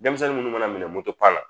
Denmisɛnnin munnu mana minɛ na